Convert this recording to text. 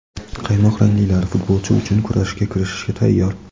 "qaymoqranglilar" futbolchi uchun kurashga kirishishga tayyor.